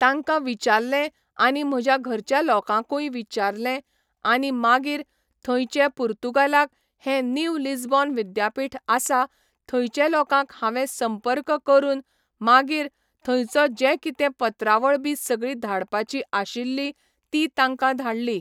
तांकां विचारलें आनी म्हज्या घरच्या लोकांकूय विचारलें आनी मागीर थंयचे पुर्तुगालाक हें नीव लिजबॉन विद्यापीठ आसा थंयचे लोकांक हांवें संपर्क करून मागीर थंयचो जे कितें पत्रावळ बी सगळी धाडपाची आशिल्ली ती तांकां धाडली